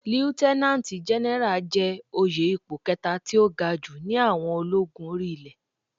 Líútẹ́nánátì Gẹnẹrà jẹ́ òye ipò kẹta tí ó ga jù ní àwọn ológun orí ilé.